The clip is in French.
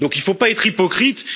Il ne faut pas être hypocrite.